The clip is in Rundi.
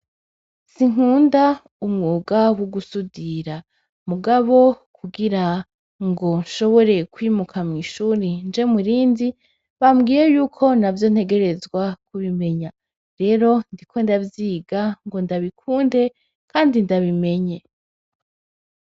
Sinkunda umwuga wo gusudira, mugabo kugirango nshobore kwimuka mw'ishure ngo nje mu rindi, bambwiye yuko navyo ntegerezwa kubimenya. Rero ndiko ndavyiga ngo ndabikunde kandi ndabimenye.